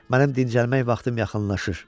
Mənim dincəlmək vaxtım yaxınlaşır.